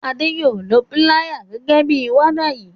Ade yóò ló Píláyà gé waya yí